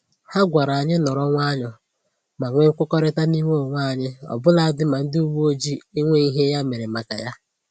Ha gwara anyị nọrọ nwayọọ ma nwe mkwekọrịta n'ime onwe anyị ọbụladị ma ndị uwe ojii enweghị ihe ya mere maka ya